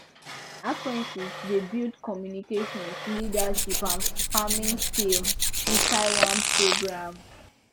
apprentices dey build communication leadership and farming skills inside one programme